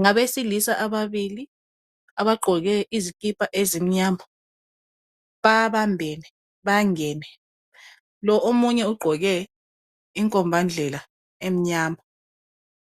Ngabesilisa ababili abagqoke izikipa ezimnyama babambene bangene Lo omunye ugqoke inkombandlela emnyama